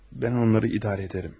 Mən onları idarə edərəm.